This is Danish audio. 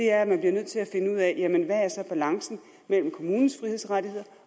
er nødt til at finde ud af hvad balancen mellem kommunens frihedsrettigheder